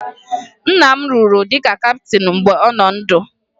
Nna m rụrụ dịka kaptịn mgbe ọ nọ ndụ